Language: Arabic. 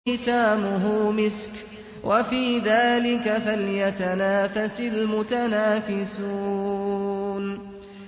خِتَامُهُ مِسْكٌ ۚ وَفِي ذَٰلِكَ فَلْيَتَنَافَسِ الْمُتَنَافِسُونَ